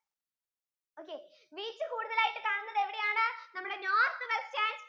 okay wheat കൂടുതലായിട്ട് കാണുന്നത് എവിടെയാണ് നമ്മുടെ north western